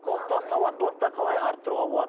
құқықтық сауаттылықты қалай арттыруға болады